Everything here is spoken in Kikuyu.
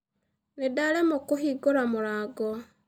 Nĩndaremwo kũhingũra mũrango.